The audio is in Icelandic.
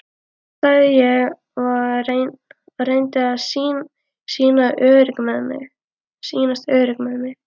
sagði ég og reyndi að sýnast örugg með mig.